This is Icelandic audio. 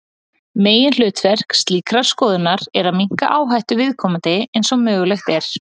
Meginhlutverk slíkrar skoðunar er að minnka áhættu viðkomandi eins og mögulegt er.